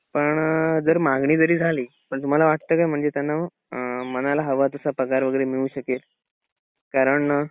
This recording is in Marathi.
पण अअ जर मागणी जरी झाली पण तुम्हाला वाटत का म्हणजे त्यांना मनाला हवा तसा पगार वगैरे मिळू शकेल? कारण